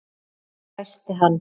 hvæsti hann.